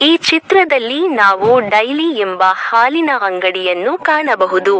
ಈ ಚಿತ್ರದಲ್ಲಿ ನಾವು ಡೈಲೀ ಎಂಬ ಹಾಲಿನ ಅಂಗಡಿಯನ್ನು ಕಾಣಬಹುದು.